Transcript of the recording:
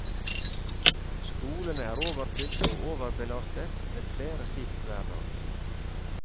Skolene er overfylt og overbelastet, med flere skift hver dag.